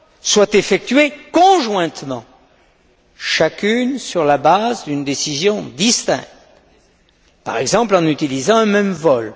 soient effectuées conjointement, chacune sur la base d'une décision distincte, par exemple en utilisant un même vol.